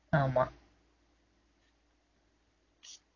ஆமா